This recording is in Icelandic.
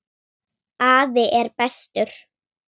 Afi er bestur.